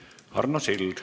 Arno Sild.